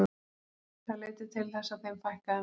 Það leiddi til þess að þeim fækkaði mjög.